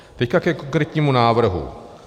Teď ke konkrétnímu návrhu.